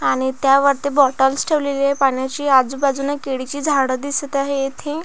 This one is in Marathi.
आणि त्यावरती बाॅटल्स ठेवलेली आहे पाण्याची आजुबाजुने केळीची झाडं दिसत आहे येथे.